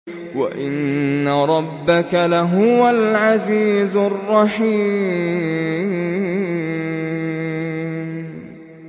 وَإِنَّ رَبَّكَ لَهُوَ الْعَزِيزُ الرَّحِيمُ